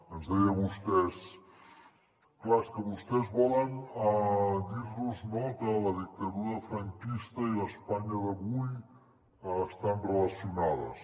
ens deia vostè clar és que vostès volen dir nos que la dictadura franquista i l’espanya d’avui estan relacionades